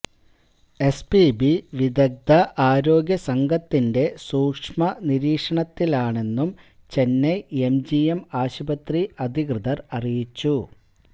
SPB വിദഗ്ധ ആരോഗ്യ സംഘത്തിന്റെ സൂക്ഷ്മ നിരീക്ഷണത്തിലാണെന്നും ചെന്നൈ എംജിഎം ആശുപത്രി അധികൃതര് അറിയിച്ചു